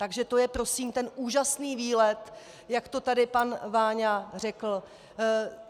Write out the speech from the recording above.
Takže to je prosím ten úžasný výlet, jak to tady pan Váňa řekl!